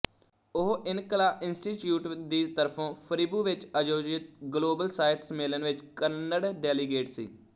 ਉਹ ਇਨਕਲਾ ਇੰਸਟੀਚਿਊਟ ਦੀ ਤਰਫੋਂ ਫਰਿਬੂ ਵਿੱਚ ਆਯੋਜਿਤ ਗਲੋਬਲ ਸਾਹਿਤ ਸੰਮੇਲਨ ਵਿੱਚ ਕੰਨੜ ਡੈਲੀਗੇਟ ਸੀ